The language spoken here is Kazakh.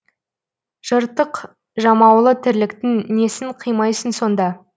жыртық жамаулы тірліктің несін қимайсың сонда